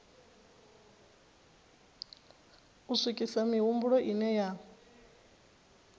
u swikisa mihumbulo ine ya